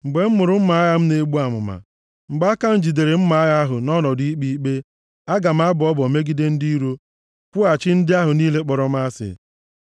mgbe m mụrụ mma agha m na-egbu amụma, mgbe aka m jidere mma agha ahụ nʼọnọdụ ikpe ikpe, aga m abọ ọbọ megide ndị iro, kwụghachi ndị ahụ niile kpọrọ m asị.